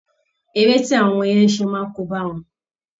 Eré tí awọn ọmọ yẹn ń ṣe máa kóbá wọn